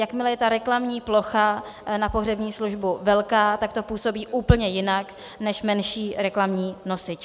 Jakmile je ta reklamní plocha na pohřební službu velká, tak to působí úplně jinak než menší reklamní nosič.